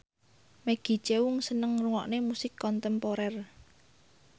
Maggie Cheung seneng ngrungokne musik kontemporer